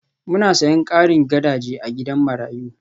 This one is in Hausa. Muna sayen karin gadaje na gidan marayu